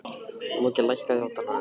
Loki, lækkaðu í hátalaranum.